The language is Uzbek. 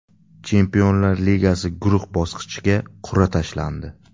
Chempionlar Ligasi guruh bosqichiga qur’a tashlandi.